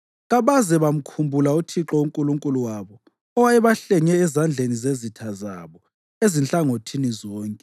kabaze bamkhumbula uThixo uNkulunkulu wabo owayebahlenge ezandleni zezitha zabo ezinhlangothini zonke.